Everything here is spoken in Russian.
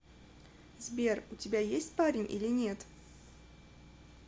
сбер у тебя есть парень или нет